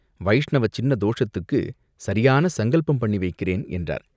வைஷ்ணவ சின்ன தோஷத்துக்குச் சரியான சங்கல்பம் பண்ணி வைக்கிறேன்!" என்றார்.